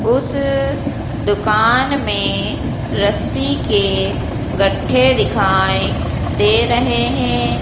उस दुकान में रस्सी के गढ्ढे दिखाई दे रहे हैं।